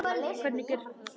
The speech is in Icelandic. Hvernig gerir þú það?